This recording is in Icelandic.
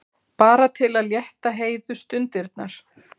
Bara til að létta Heiðu stundirnar.